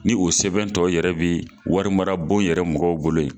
Ni o sɛbɛn tɔ yɛrɛ be wari mara bon yɛrɛ mɔgɔw bolo yen